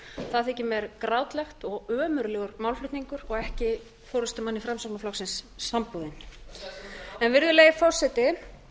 það þykir mér grátlegt og ömurlegur málflutningur og ekki forustumanni framsóknarflokksins samboðinn virðulegi forseti